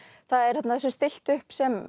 það er þarna þessu er stillt upp sem